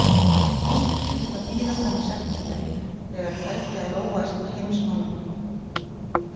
Slíkt yrði að bíða fram í september, þegar tæki að róast í heimsmálunum.